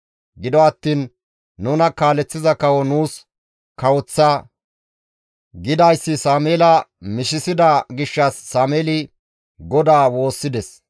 Gido attiin, «Nuna kaaleththiza kawo nuus kawoththa» gidayssi Sameela mishisida gishshas Sameeli GODAA woossides.